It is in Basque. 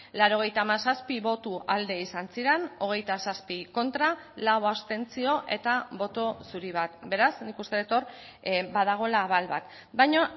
laurogeita hamazazpi boto alde izan ziren hogeita zazpi kontra lau abstentzio eta boto zuri bat beraz nik uste dut hor badagoela abal bat baina